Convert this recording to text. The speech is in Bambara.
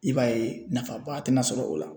I b'a ye nafaba tɛna sɔrɔ o la